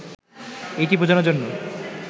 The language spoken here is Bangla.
এটি বোঝানোর জন্য